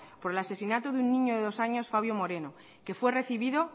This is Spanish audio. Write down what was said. por el asesinado de un niño de dos años fabio moreno que fue recibido